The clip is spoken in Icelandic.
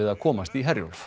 að komast í Herjólf